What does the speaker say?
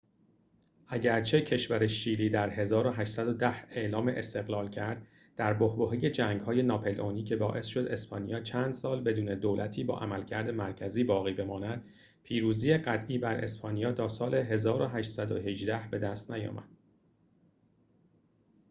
اگرچه کشور شیلی در 1810 اعلام استقلال کرددر بحبوحه جنگ‌های ناپلئونی که باعث شد اسپانیا چند سال بدون دولتی با عملکرد مرکزی باقی بماند، پیروزی قطعی بر اسپانیا تا سال 1818 بدست نیامد